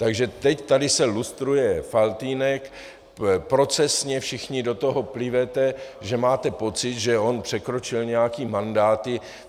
Takže teď tady se lustruje Faltýnek, procesně, všichni do toho plivete, že máte pocit, že on překročil nějaké mandáty.